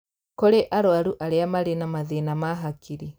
Kũrĩ arũarũ arĩa marĩ na mathĩna ma hakiri